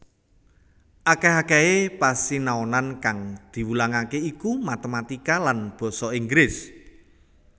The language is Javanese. Akèh akèhé pasinaonan kang diwulangaké iku matématika lan basa Inggris